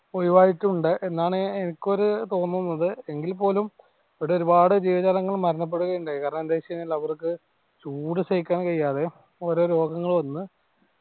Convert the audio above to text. ഒഴിവായിട്ടുണ്ട് എന്നാണ് എനിക്കൊരു തോന്നുന്നത് എങ്കിൽ പോലും ഇവിടെ ഒരുപാട് ജീവജാലങ്ങൾ മരണപ്പെടുകയുണ്ടായി കാരണം എന്താന്ന് വെച്ച് കഴിഞ്ഞാൽ ചൂട് സഹിക്കാൻ കൈയ്യാതെ ഓരോ രോഗങ്ങൾ വന്ന്